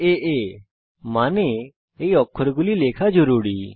আপনার এই অক্ষরগুলি লেখা জরুরী